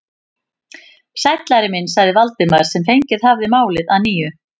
Sæll, Ari minn sagði Valdimar sem fengið hafði málið að nýju.